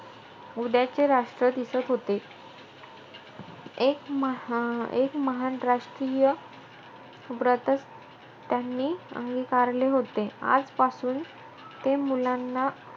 उद्याचे राष्ट्र दिसत होते. एक महा~ एक महान राष्ट्रीय व्रतचं त्यांनी अंगिकारले होते. आजपासून ते मुलांना,